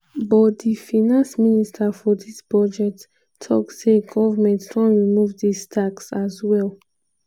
but di finance minister for dis budget tok say goment don remove dis tax as well.